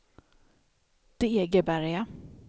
Degeberga